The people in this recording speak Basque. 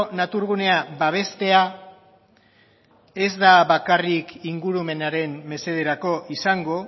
naturgunea babestea ez da bakarrik ingurumenaren mesederako izango